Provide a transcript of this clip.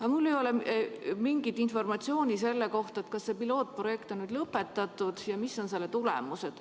Aga mul ei ole mingit informatsiooni selle kohta, kas see pilootprojekt on nüüd lõpetatud ja mis on selle tulemused.